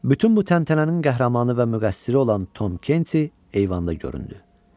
Bütün bu təntənənin qəhrəmanı və müqəssiri olan Tom Kenti eyvanda göründü.